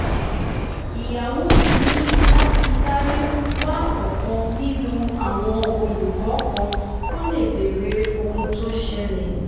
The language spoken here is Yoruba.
ìyàwó mi ní láti sáré wa ọ̀kan nínú àwọn olùkọ́ kan kó lè béèrè ohun tó ṣẹlẹ̀